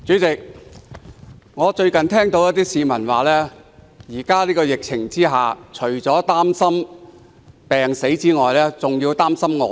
主席，最近一些市民指出，在現時的疫情下，除了擔心病死外，還要擔心餓死。